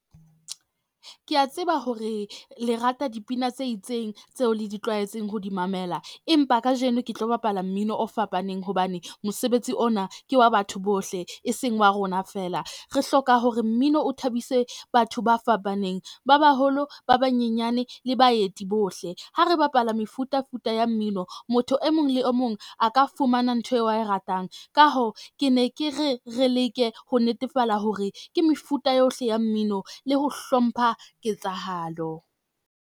Ke a tseba hore le rata dipina tse itseng tseo le di tlwaetseng ho di mamela, empa kajeno ke tlo bapala mmino o fapaneng hobane mosebetsi ona ke wa batho bohle e seng wa rona fela. Re hloka hore mmino o thabise batho ba fapaneng, ba baholo ba banyenyane le baeti bohle. Ha re bapala mefutafuta ya mmino, motho e mong le o mong a ka fumana ntho eo a e ratang. Ka hoo, ke ne ke re re leke ho netefala hore ke mefuta yohle ya mmino le ho hlompha ketsahalo.